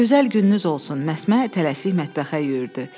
Gözəl gününüz olsun, Məsmə tələsik mətbəxə yüyürdü.